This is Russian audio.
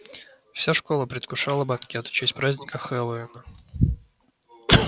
вся школа предвкушала банкет в честь праздника хэллоуина